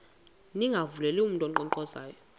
ningavuleli mntu unkqonkqozayo